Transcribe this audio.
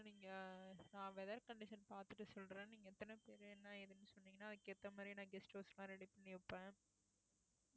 இன்னும் நீங்க நான் weather condition பார்த்துட்டு சொல்றேன் நீங்க எத்தன பேரு என்ன ஏதுன்னு சொன்னீங்கன்னா அதுக்கு ஏத்த மாதிரி நான் guest house லாம் ready பண்ணி வைப்பேன்